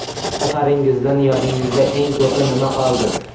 Safaringizdan yodingizda eng ko‘pi nima qoldi?